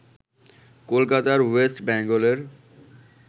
কলকাতার ওয়েস্ট বেঙ্গলের